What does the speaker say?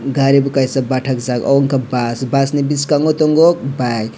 gari bo kaisa bathakjak obo ungkha bus bus ni biskango tongo bike.